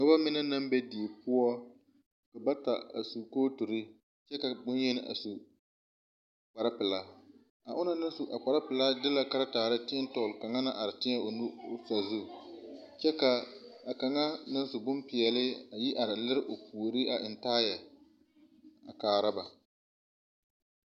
Nobɔ mine naŋ be die poɔ ka bata a sukooturi kyɛ bonyeni a su kparre pilaa ,a onɔŋ naŋ su a kparre pilaa de la karetaare teɛ dɔgli kaŋna naŋ are de o nu teɛ tɔgli sazu kyɛ ka kaŋa naŋ su bonpeɛli a yi are lire o puori a eŋ taayɛ a kaara ba.